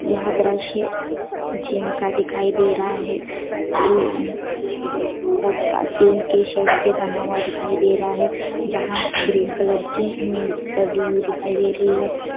यहाँ द्रश्य जिम का दिखाई दे रहा है टीन के शेड से बना हुआ दिखाई दे रहा है जहां ग्रीन कलर की नेट डली हुई दिखाई दे रही है।